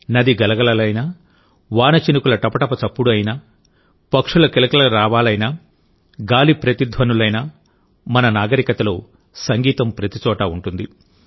నది గలగలలైనా వాన చినుకుల టపటప చప్పుడు అయినా పక్షుల కిలకిలారావాలైనా గాలి ప్రతిధ్వనులైనా మన నాగరికతలో సంగీతం ప్రతిచోటా ఉంటుంది